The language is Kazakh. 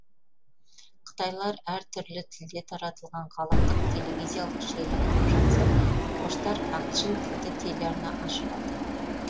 қытайлар әр түрлі тілде таратылатын ғаламдық телевизиялық желі құрып жатса орыстар ағылшын тілді телеарна ашып алды